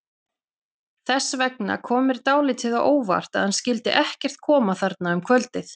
Þess vegna kom mér dálítið á óvart að hann skyldi ekkert koma þarna um kvöldið.